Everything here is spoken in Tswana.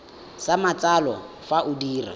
sa matsalo fa o dira